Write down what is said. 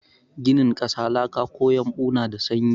Ginin ƙasa, laka ko yumbo na da sanyi.